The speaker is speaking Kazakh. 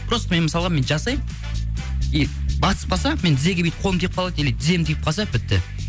просто мен мысалға мен жасаймын басып қалса мен тізеге бүйтіп қолым тиіп қалады или тізем тиіп қалса бітті